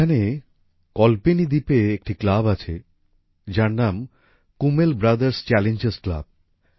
এখানে কল্পেনি দ্বীপে একটি ক্লাব আছে যার নাম কুমেল ব্রাদার্স চ্যালেঞ্জার্স ক্লাব